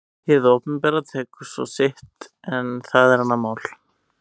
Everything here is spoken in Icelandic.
Hið opinbera tekur svo sitt en það er annað mál.